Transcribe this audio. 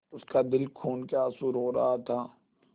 उसका दिल खून केआँसू रो रहा था